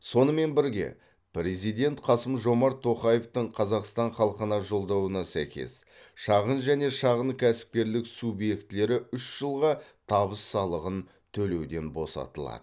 сонымен бірге президент қасым жомарт тоқаевтың қазақстан халқына жолдауына сәйкес шағын және шағын кәсіпкерлік субъектілері үш жылға табыс салығын төлеуден босатылады